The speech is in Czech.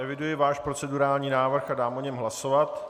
Eviduji váš procedurální návrh a dám o něm hlasovat.